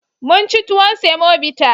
Mun ci tuwon semobita.